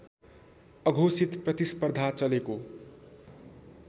अघोषित प्रतिस्पर्धा चलेको